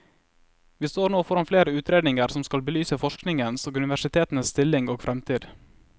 Vi står nå foran flere utredninger som skal belyse forskningens og universitetenes stilling og fremtid.